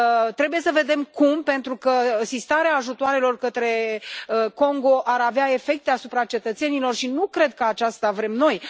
Trebuie să vedem cum, pentru că sistarea ajutoarelor către Congo ar avea efecte asupra cetățenilor și nu cred că aceasta vrem noi.